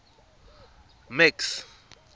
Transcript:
max